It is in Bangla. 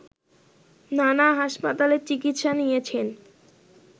নানা হাসপাতালে চিকিৎসা নিয়েছেন